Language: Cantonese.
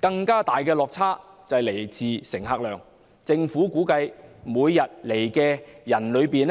更大的落差來自乘客量，政府估計每天來港的 99,000